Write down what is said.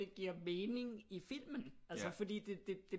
Det giver mening i filmen altså fordi det